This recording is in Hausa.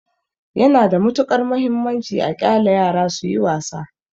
Yana da matuƙar mahimmanci a ƙyale yara suyi wasa.